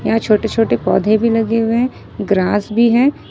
यहां छोटे छोटे पौधे भी लगे हुए है ग्रास भी हैं ।